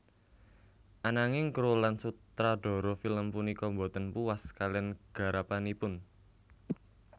Ananging kru lan sutradara film punika boten puas kalian garapanipun